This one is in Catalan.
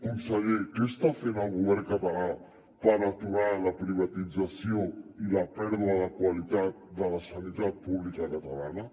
conseller què està fent el govern català per aturar la privatització i la pèrdua de qualitat de la sanitat pública catalana